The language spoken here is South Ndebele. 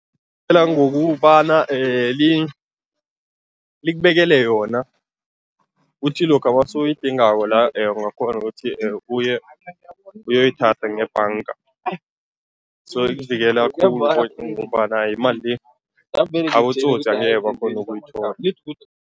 Ngokubana likubekele yona, uthi lokha nawusuyidingako la ungakghona ukuthi uye, uyoyithatha ngebhanga, so ikuvikela khulu ngombana imali le abotsotsi angeke bakghone ukuyithola.